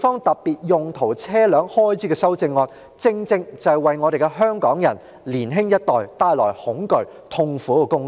特別用途車輛正正是為我們香港人及年輕一代帶來恐懼和痛苦的工具。